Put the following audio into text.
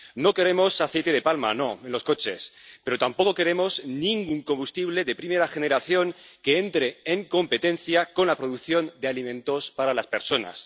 No queremos aceite de palma en los coches, pero tampoco queremos ningún combustible de primera generación que entre en competencia con la producción de alimentos para las personas.